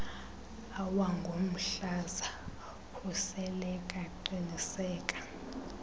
awangomhlaza khuseleka qiniseka